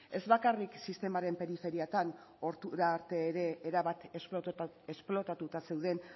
ez bakarrik sistemaren periferiatan ordura arte ere erabat esplotatuta zeuden